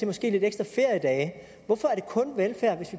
måske lidt ekstra feriedage hvorfor er det kun velfærd hvis